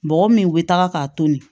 Bɔgɔ min bɛ taga k'a tobi